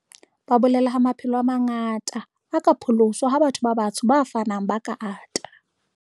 Ba bolela ha maphelo a manga ta a ka pholoswa ha Batho ba Batsho ba fanang ba ka ata.